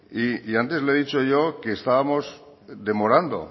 y antes le he dicho yo que estábamos demorando